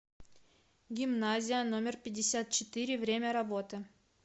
гимназия номер пятьдесят четыре время работы